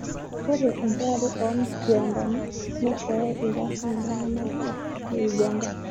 Ore enchetare oo mkiwandani neisho irkasin iltung'ana kumok le Uganda